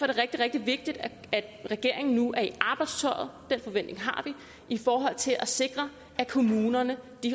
det rigtig rigtig vigtigt at regeringen nu er i arbejdstøjet den forventning har vi i forhold til at sikre at kommunerne